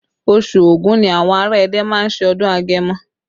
Oṣù Ògún ni àwọn ará Ẹdẹ má ń ṣe ọdún agẹmọ